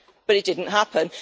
But it didn't happen.